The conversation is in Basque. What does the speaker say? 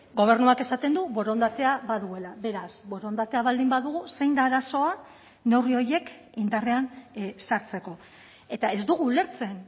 gobernuak esaten du borondatea baduela beraz borondatea baldin badugu zein da arazoa neurri horiek indarrean sartzeko eta ez dugu ulertzen